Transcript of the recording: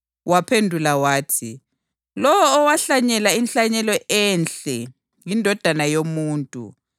Waphendula wathi, “Lowo owahlanyela inhlanyelo enhle yiNdodana yoMuntu.